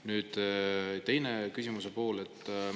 Nüüd, teine küsimuse pool.